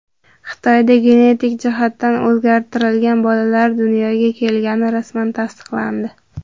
Xitoyda genetik jihatdan o‘zgartirilgan bolalar dunyoga kelgani rasman tasdiqlandi .